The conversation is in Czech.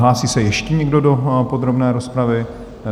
Hlásí se ještě někdo do podrobné rozpravy?